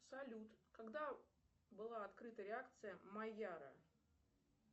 салют когда была открыта реакция майяра